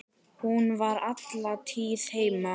Hún var alla tíð heima.